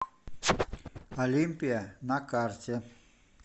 олимпия на карте